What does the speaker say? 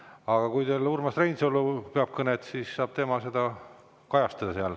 Aga kui teil peab kõne Urmas Reinsalu, siis saab tema seda seal kajastada.